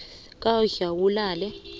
kwadlawulale